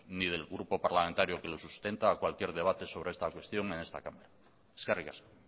ni del grupo parlamentario que lo sustenta a cualquier debate sobre esta cuestión en esta cámara eskerrik asko